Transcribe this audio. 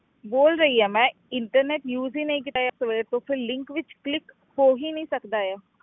ਬੋਲ ਰਹੀ ਹਾਂ ਮੈਂ internet use ਹੀ ਨਹੀਂ ਕੀਤਾ ਹੈ ਸਵੇਰ ਤੋਂ ਫਿਰ link ਵਿੱਚ click ਹੋ ਹੀ ਨੀ ਸਕਦਾ ਹੈ।